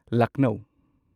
Lucknow